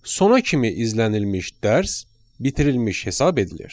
Sona kimi izlənilmiş dərs bitirilmiş hesab edilir.